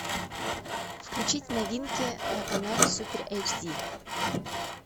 включить новинки на канале супер эйч ди